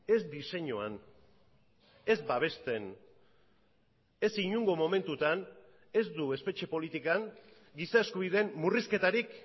ez diseinuan ez babesten ez inongo momentutan ez du espetxe politikan giza eskubideen murrizketarik